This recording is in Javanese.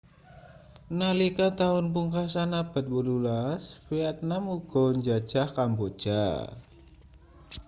nalika taun pungkasan abad 18 vietnam uga njajah kamboja